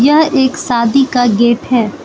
यह एक शादी का गेट है।